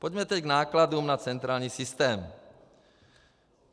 Pojďme tedy k nákladům na centrální systém.